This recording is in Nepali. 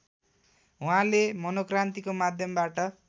उहाँले मनोक्रान्तिको माध्यमबाट